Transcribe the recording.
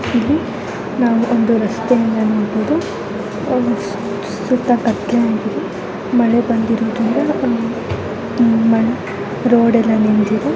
ಇಲ್ಲಿ ನಾವು ಒಂದು ರಸ್ತೆಯನ್ನ ನೋಡಬಹುದು ಸುತ್ತ ಕತ್ತಲೆಯಾಗಿದೆ ಮಳೆ ಬಂದಿರೊದಿಂದ ರೋಡ್ ಎಲ್ಲ ನೆನೆದಿದೆ.